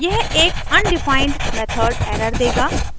यह एक undefined method error देगा